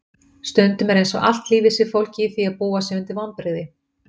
Stundum er einsog allt lífið sé fólgið í því að búa sig undir vonbrigði.